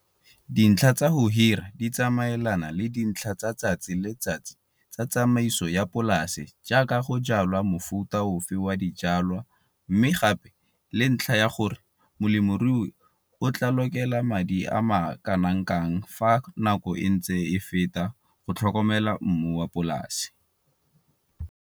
Dintlha tsa go hira di tsamaelana le dintIha tsa letsatsi le letsatsi tsa tsamaiso ya polase jaaka go jwala mofuta ofe wa dijwalwa mme gape le ntlha ya gore molemirui o tla lokela madi a makana kang fa nako e ntse e feta go tlhokomela mmu wa polase.